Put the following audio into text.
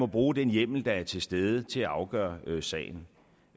bruge den hjemmel der er til stede til at afgøre sagen